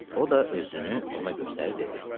O da özünü ona göstərib dedi: